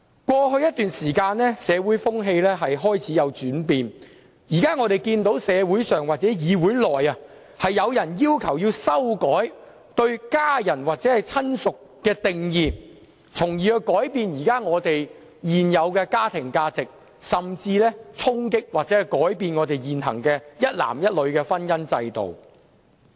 過去一段時間，社會風氣開始轉變，我們現時看見社會上或議會內均有人要求修改對家人或親屬的定義，從而改變現有的家庭價值，甚至是衝擊或改變現行一男一女的婚姻制度。